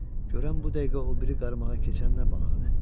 Görən bu dəqiqə o biri qarmağa keçən nə balığıdır?